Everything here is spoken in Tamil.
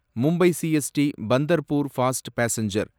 Mumbai CST Pandharpur fast passenger